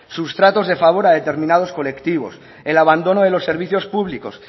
sus tratos de favor a determinados colectivos el abandono de los servicios públicos